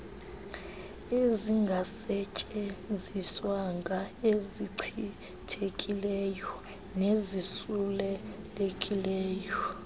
ezingasetyenziswanga ezichithekileyo nezisulelekileyo